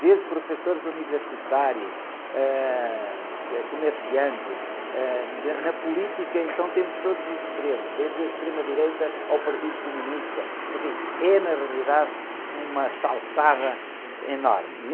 Desde professores universitários, ãh, comerciantes, ãh, na política então temos todos os extremos, desde a extrema-direita ao Partido Comunista, enfim, é, na realidade, uma salsada enorme.